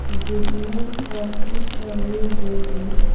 जिसमें काफी सारी लेडीज --